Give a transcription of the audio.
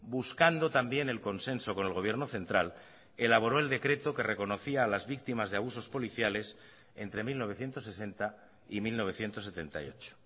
buscando también el consenso con el gobierno central elaboró el decreto que reconocía a las víctimas de abusos policiales entre mil novecientos sesenta y mil novecientos setenta y ocho